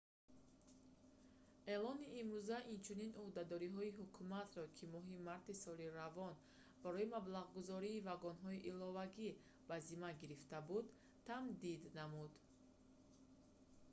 эълони имрӯза инчунин ӯҳдадориҳои ҳукуматро ки моҳи марти соли равон барои маблағгузории вагонҳои иловагӣ ба зимма гирифта буд тамдид намуд